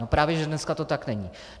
No právě že dneska to tak není.